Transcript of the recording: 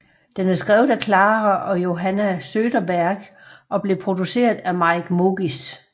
Den er skrevet af Klara og Johanna Söderberg og blev produceret af Mike Mogis